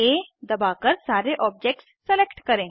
CTRLA दबाकर सारे objects select करें